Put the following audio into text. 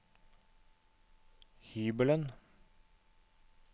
hybelen